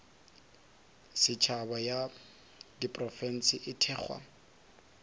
setšhaba ya diprofense e thekgwa